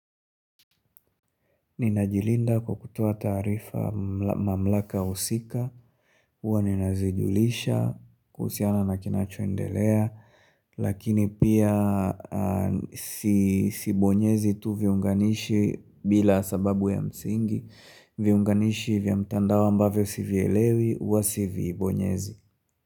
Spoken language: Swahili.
Ninajilinda kwa kutoa taarifa mamlaka usika, uwa ninazijulisha, kuhusiana na kinachoendelea, lakini pia sibonyezi tu viunganishi bila sababu ya msingi, viunganishi vya mtandao ambavyo sivielewi, uwa sivibonyezi.